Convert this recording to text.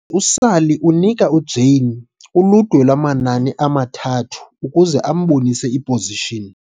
Ngoko ke, uSally unika uJane uludwe lwamanani amathathu ukuze ambonise i-position.